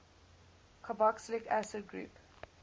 carboxylic acid group